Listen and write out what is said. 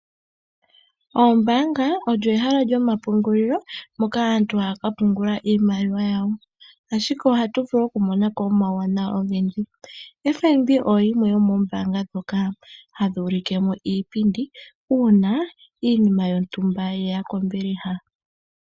Oombaanga odho ehala lyo mapungulilo moka aantu haya ka pungula iimaliwa yawo. Ashike ohatu vulu oku monako omawuwanawa ogendji. FNB oyo yimwe yomoombaanga ndhoka hadhi ulike mo iipindi uuna iinima yontumba yeya kombiliha.